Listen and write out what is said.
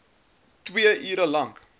twee ure lank